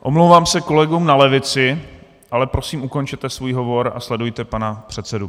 Omlouvám se kolegům na levici, ale prosím, ukončete svůj hovor a sledujte pana předsedu.